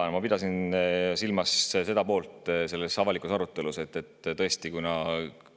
Jaa, ma pidasin silmas avaliku arutelu seda poolt, et kuna